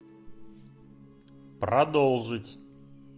продолжить